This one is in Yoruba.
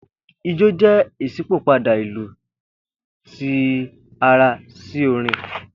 Ijó jẹ iṣipopada ilu ti ara si orin